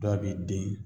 Dɔ b'i den